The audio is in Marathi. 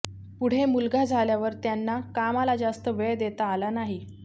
पुढे मुलगा झाल्यावर त्यांना कामाला जास्त वेळ देता आला नाही